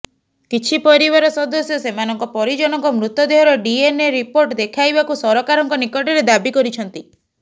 କିଛି ପରିବାର ସଦସ୍ୟ ସେମାନଙ୍କ ପରିଜନଙ୍କ ମୃତଦେହର ଡିଏନ୍ଏ ରିପୋର୍ଟ ଦେଖାଇବାକୁ ସରକାରଙ୍କ ନିକଟରେ ଦାବି କରିଛନ୍ତି